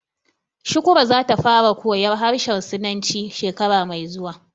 Shukrah za ta fara koyar harshen sinanci shekara mai zuwa